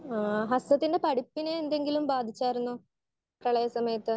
Speaker 1 ആഹ് ഹസനത്തിന്റെ പഠിപ്പിനെ എന്തെങ്കിലും ബാധിച്ചായിരുന്നോ പ്രളയ സമയത്ത്.